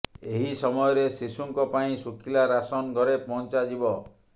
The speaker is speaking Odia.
ଏହି ସମୟରେ ଶିଶୁଙ୍କ ପାଇଁ ଶୁଖିଲା ରାସନ ଘରେ ପହଞ୍ଚାଯିବ